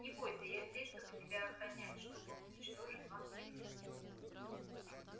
не бойся я здесь чтобы тебя охранять чтобы уничтожить вампиршу